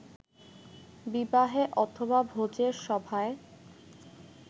বিবাহে অথবা ভোজের সভায়